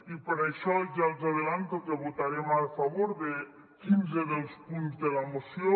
i per això ja els avanço que votarem a favor de quinze dels punts de la moció